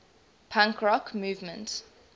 punk rock movement